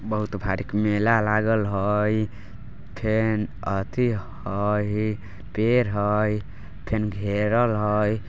बहुत भारी मेला लागेल हई फिर यति हई पेड़ हई फिर घेरल हई।